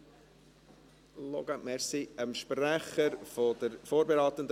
Bitte loggen Sie sich noch in die Saalanlage ein.